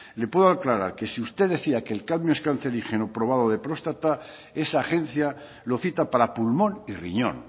le puedo aclarar que si usted decía que el cadmio es cancerígeno probado de próstata esa agencia lo cita para pulmón y riñón